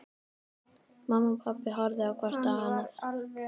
Pabbi og mamma horfðu hvort á annað.